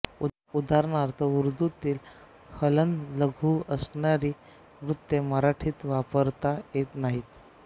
उदाहरणार्थ उर्दूतील हलन्त लघु असणारी वृत्ते मराठीत वापरता येत नाहीत